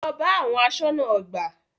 Lọ bá àwọn aṣọ́nà ọgbà!